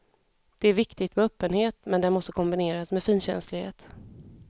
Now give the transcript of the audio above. Det är viktigt med öppenhet men den måste kombineras med finkänslighet.